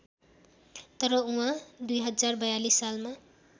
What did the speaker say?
तर उहाँ २०४२ सालमा